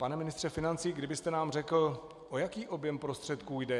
Pane ministře financí, kdybyste nám řekl, o jaký objem prostředků jde.